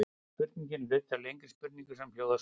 Spurningin er hluti af lengri spurningu sem hljóðar svona: